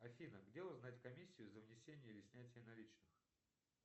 афина где узнать комиссию за внесение или снятие наличных